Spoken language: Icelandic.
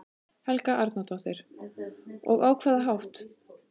Helga Arnardóttir: Og á hvaða hátt?